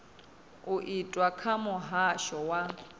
u itwa kha muhasho wa